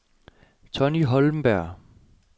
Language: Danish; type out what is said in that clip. Tonni Holmberg